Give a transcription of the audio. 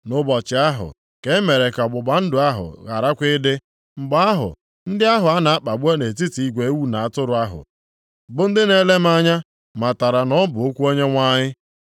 Nʼụbọchị ahụ ka e mere ka ọgbụgba ndụ ahụ gharakwa ịdị. Mgbe ahụ, ndị ahụ a na-akpagbu nʼetiti igwe ewu na atụrụ ahụ, bụ ndị na-ele m anya matara na ọ bụ okwu Onyenwe anyị.